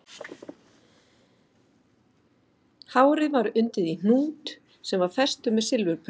Hárið var undið í hnút sem var festur með silfurprjónum